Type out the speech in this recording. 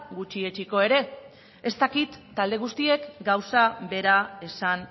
gutxietsiko ere ez dakit talde guztiek gauza bera esan